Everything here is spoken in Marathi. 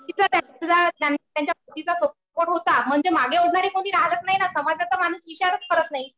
तिथं त्यांना त्यांच्या पतीचा सपोर्ट होता. म्हणजे मागे ओढणारी कुणी राहातच नाही ना. समाजाचा माणूस विचारच करत नाही.